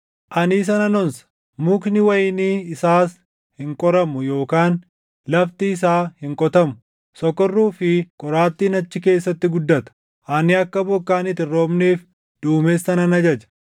Ani isa nan onsa; mukni wayinii isaas hin qoramu yookaan lafti isaa hin qotamu. Sokorruu fi qoraattiin achi keessatti guddata. Ani akka bokkaan itti hin roobneef duumessa nan ajaja.”